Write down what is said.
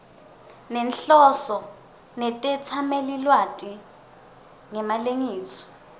nenhloso netetsamelilwati ngemalengiso